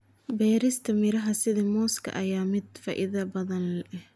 Beerista miraha sida muuska ayaa ah mid faa'iido badan leh.